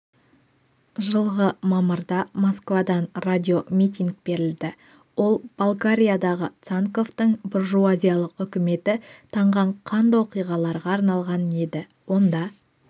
жылғы мамырда москвадан радиомитинг берілді ол болгариядағы цанковтың буржуазиялық үкіметі таңған қанды оқиғаларға арналған еді онда